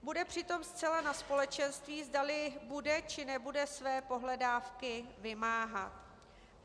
Bude přitom zcela na společenství, zdali bude, či nebude své pohledávky vymáhat.